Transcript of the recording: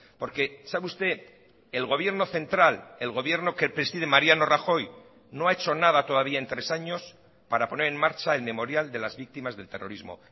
porque sabe usted el gobierno central el gobierno que preside mariano rajoy no ha hecho nada todavía en tres años para poner en marcha el memorial de las víctimas del terrorismo